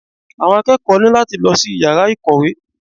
Àwọn akẹ́kọ̀ọ́ ní láti lọ sí yàrá ìkọ̀wé.